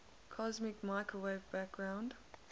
cosmic microwave background